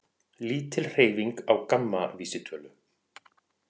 Lítil hreyfing á GAMMA vísitölu